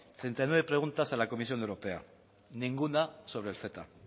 treinta y nueve preguntas a la comisión europea ninguna sobre el ceta